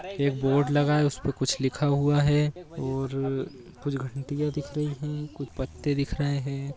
रहे हैं एक बोर्ड लगा है उसपे कुछ लिखा हुआ है और कुछ घंटियां दिख रही है कुछ पत्ते दिख रहे हैं|